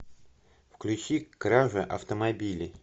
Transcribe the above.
включи кража автомобилей